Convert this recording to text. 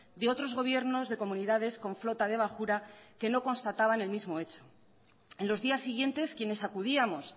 de otros gobiernos de comunidades con flota de bajura que no constataba en el mismo hecho en los días siguientes quienes acudíamos